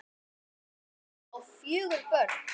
Birkir á fjögur börn.